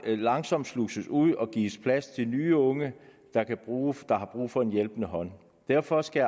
langsomt sluses ud og gives plads til nye unge der har brug for en hjælpende hånd derfor skal